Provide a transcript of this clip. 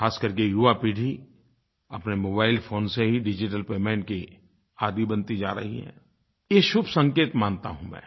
ख़ास कर के युवा पीढ़ी अपने मोबाइल फोन से ही डिजिटल पेमेंट की आदी बनती जा रही है ये शुभ संकेत मानता हूँ मैं